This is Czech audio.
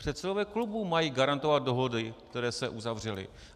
Předsedové klubů mají garantovat dohody, které se uzavřely.